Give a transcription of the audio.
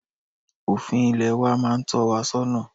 Òfin Ilẹ̀ wa máa n tọ́ wa sọ́nà